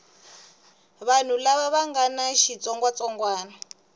vanhu lava nga na xitsongwatsongwana